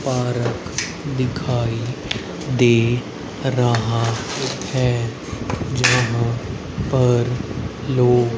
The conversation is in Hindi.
पार्क दिखाई दे रहा है जहां पर लोग--